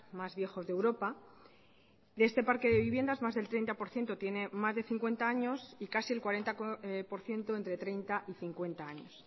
más viejos de europa de este parque de viviendas más del treinta por ciento tiene más de cincuenta años y casi el cuarenta por ciento entre treinta y cincuenta años